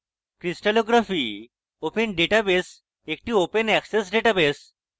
crystallography open database একটি open access database